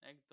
এখানে